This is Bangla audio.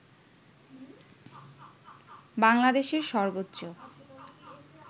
বাংলাদেশের সর্বোচ্চ